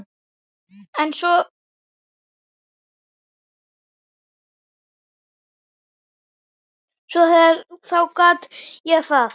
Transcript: En svo þegar til kom þá gat ég það ekki.